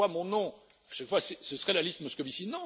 Je vois mon nom, à chaque fois, ce serait la liste Moscovici.